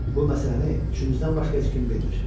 Bu məsələni üçümüzdən başqa heç kim bilmir.